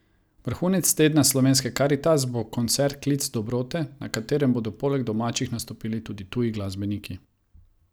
Vrhunec tedna slovenske Karitas bo koncert Klic dobrote, na katerem bodo poleg domačih nastopili tudi tuji glasbeniki.